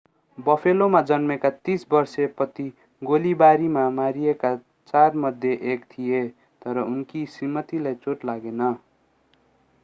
बफेलोमा जन्मेका 30 वर्षे पति गोलीबारीमा मारिएका चारमध्ये एक थिए तर उनकी श्रीमतीलाई चोट लागेन